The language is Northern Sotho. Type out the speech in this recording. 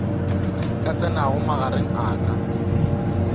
ka tsenago magareng a ka